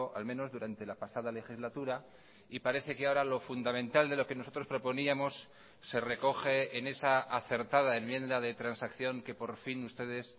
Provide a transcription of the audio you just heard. al menos durante la pasada legislatura y parece que ahora lo fundamental de lo que nosotros proponíamos se recoge en esa acertada enmienda de transacción que por fin ustedes